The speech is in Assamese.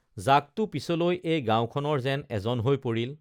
জাকটো পিছলৈ এই গাঁৱখনৰ যেন এজন হৈ পৰিল